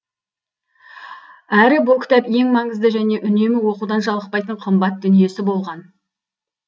әрі бұл кітап ең маңызды және үнемі оқудан жалықпайтын қымбат дүниесі болған